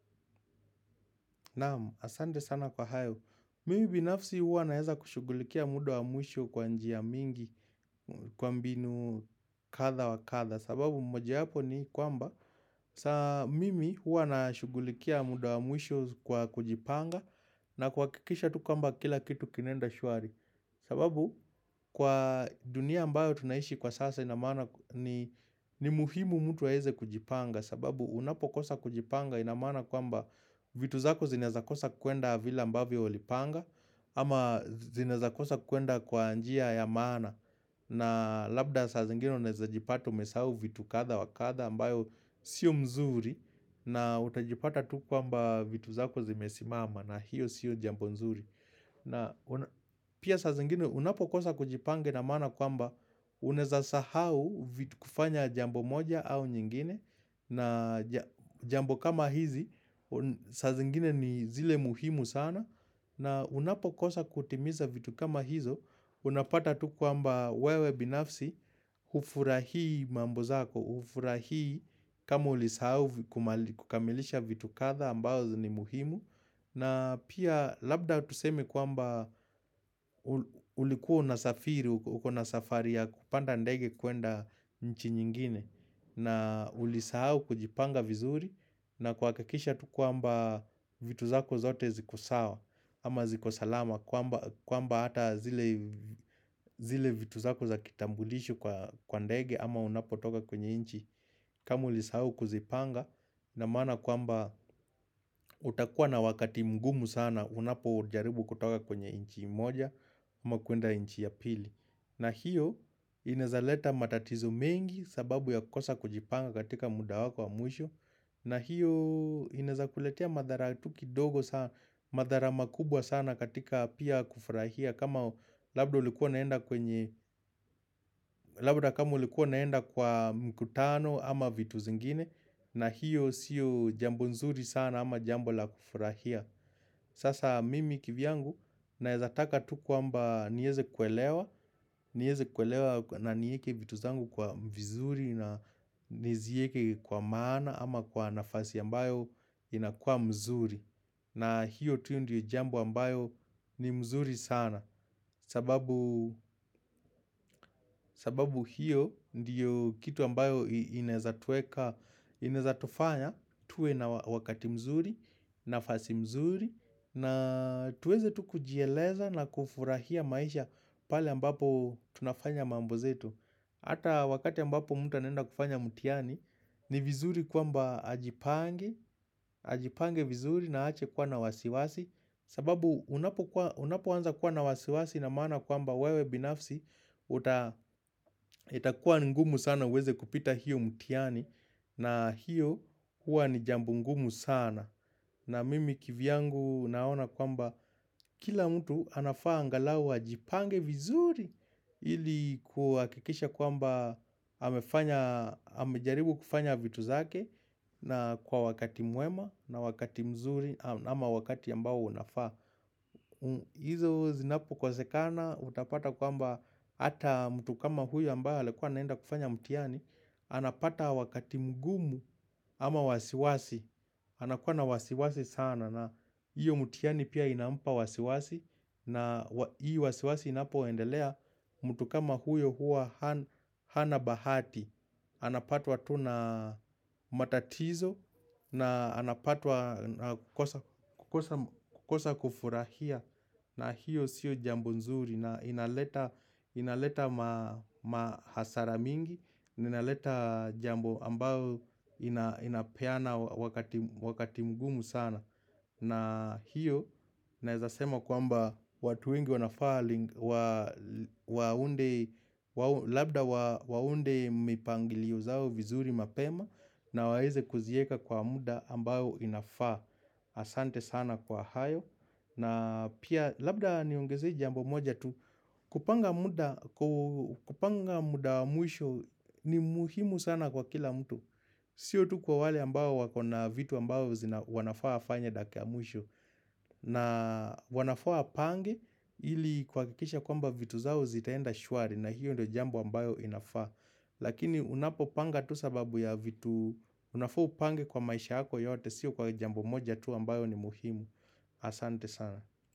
Naam, asante sana kwa hayo. Mimi binafsi huwa naweza kushughulikia muda wa mwisho kwa njia mingi kwa mbinu kadha wa kadha. Sababu moja wapo ni kwamba, mimi huwa nashughulikia muda wa mwisho kwa kujipanga na kuhakikisha tu kwamba kila kitu kinaenda shwari. Sababu kwa dunia ambayo tunaishi kwa sasa inamaana ni muhimu mtu aweze kujipanga. Sababu unapokosa kujipanga inamaana kwamba vitu zako zinaweza kosa kwenda vile ambavyo ulipanga ama zinaweza kosa kwenda kwa njia ya maana na labda saa zingine unaweza jipata umesahau vitu kadha wakadha ambayo sio nzuri na utajipata tu kwamba vitu zako zimesimama na hiyo sio jambo nzuri na pia saa zingine unapokosa kujipanga inamaana kwamba unaweza sahau vitu kufanya jambo moja au nyingine na jambo kama hizi, saa zingine ni zile muhimu sana na unapokosa kutimiza vitu kama hizo Unapata tukwamba wewe binafsi Hufurahii mambozako, hufurahii kama ulisahau kukamilisha vitu kadha ambazo ni muhimu na pia labda tuseme kwamba ulikua una safiri uko na safari ya kupanda ndege kwenda nchi nyingine na ulisahau kujipanga vizuri na kuhakikisha tu kwamba vitu zako zote zikosawa ama zikosalama kwamba hata zile vitu zako za kitambulisho kwa ndege ama unapo toka kwenye nchi kama ulisahau kuzipanga inamaana kwamba utakua na wakati mgumu sana unapo jaribu kutoka kwenye nchi moja ama kwenda nchi ya pili na hiyo inawezaleta matatizo mengi sababu ya kukosa kujipanga katika muda wako wa mwisho na hiyo inawezakuletea madhara, madhara makubwa sana katika pia kufurahia kama labda kama ulikuwa unaenda kwa mkutano ama vitu zingine na hiyo siyo jambo nzuri sana ama jambo la kufurahia Sasa mimi kivyangu nawezataka tukwamba niweze kuelewa niweze kuelewa na niweke vitu zangu kuwa vizuri na niziweke kwa maana ama kwa nafasi ambayo inakua nzuri na hiyo tu ndiyo jamb ambayo ni nzuri sana sababu hiyo ndiyo kitu ambayo inawezatufanya tuwe na wakati mzuri, nafasi mzuri na tuweze tu kujieleza na kufurahia maisha pale ambapo tunafanya mambo zetu Hata wakati ambapo mtu anaenda kufanya mtihani ni vizuri kwamba ajipange Ajipange vizuri naache kuwa na wasiwasi sababu unapo anza kuwa na wasiwasi inamaana kwamba wewe binafsi itakuwa ni ngumu sana uweze kupita hiyo mtihani na hiyo kuwa ni jambo ngumu sana na mimi kivyangu naona kwamba kila mtu anafaa angalau ajipange vizuri ili kuhakikisha kwamba amejaribu kufanya vitu zake na kwa wakati mwema na wakati mzuri ama wakati ambao unafaa. Hizo zinapo kosekana utapata kwamba Hata mtu kama huyo ambaye alikuwa anaenda kufanya mtihani anapata wakati mgumu ama wasiwasi anakuwa na wasiwasi sana na iyo mtihani pia inampa wasiwasi na hii wasiwasi inapo endelea mtu kama huyo huwa hana bahati Anapatwa tuna matatizo na anapatwa kukosa kufurahia na hiyo sio jambo nzuri na inaleta mahasara mingi inaleta jambo ambalo inapeana wakati mgumu sana na hiyo nawezasema kwamba watu wengi wanafaa Waunde mipangilio zao vizuri mapema na waweze kuziweka kwa muda ambayo inafaa asante sana kwa hayo na pia labda ni ongeze jambo moja tu kupanga muda wa mwisho ni muhimu sana kwa kila mtu Sio tu kwa wale ambayo wakona vitu ambayo wanafaa wafanye dakika ya mwisho na wanafaa wapange ili kuhakikisha kwamba vitu zao zitaenda shwari na hiyo ndo jambo ambayo inafaa Lakini unapo panga tu sababu ya vitu unafaa upange kwa maisha hako yote siyo kwa jambo moja tu ambayo ni muhimu Asante sana.